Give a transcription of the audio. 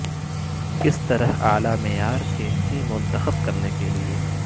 کس طرح اعلی معیار کینچی منتخب کرنے کے لئے